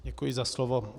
Děkuji za slovo.